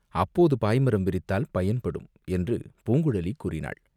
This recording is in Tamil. அப்போது பாய்மரம் விரித்தால் பயன்படும்!" என்று பூங்குழலி கூறினாள்.